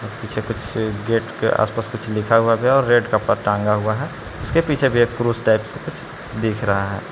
Gate के आसपास कुछ लिखा हुआ था और रेड कपड़ा टंगा हुआ है उसके पीछे भी एक पुरुष टाइप से देख रहा है।